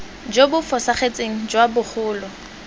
jo bo fosagetseng jwa bogolo